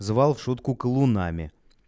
звал в шутку колунами